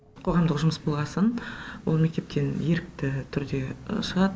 қоғамдық жұмыс болғасын ол мектептен ерікті түрде шығады